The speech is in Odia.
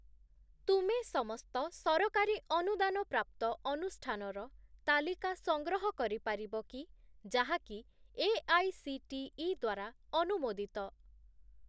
ତୁମେ ସମସ୍ତ ସରକାରୀ ଅନୁଦାନ ପ୍ରାପ୍ତ ଅନୁଷ୍ଠାନର ତାଲିକା ସଂଗ୍ରହ କରିପାରିବ କି ଯାହାକି ଏଆଇସିଟିଇ ଦ୍ୱାରା ଅନୁମୋଦିତ?